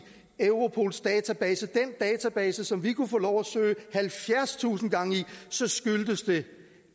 europols database som vi kunne få lov at søge halvfjerdstusind gange i så skyldes det